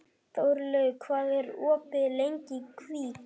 Þórlaug, hvað er opið lengi í Kvikk?